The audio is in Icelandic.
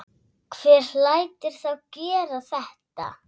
Hver lætur þá gera þetta?